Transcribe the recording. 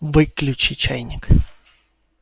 выключи чайник